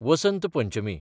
Vasant Panchami